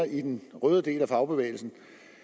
røde del af fagbevægelsen